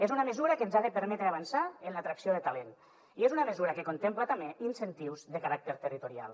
és una mesura que ens ha de permetre avançar en l’atracció de talent i és una mesura que contempla també incentius de caràcter territorial